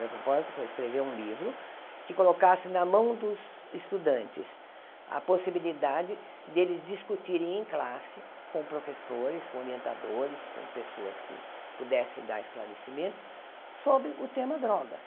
Meu propósito foi escrever um livro que colocasse na mão dos estudantes a possibilidade deles discutirem em classe com professores, com orientadores, com pessoas que pudessem dar esclarecimento sobre o tema drogas.